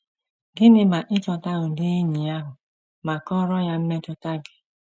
Gịnị ma ị chọta ụdị enyi ahụ ma kọọrọ ya mmetụta gị?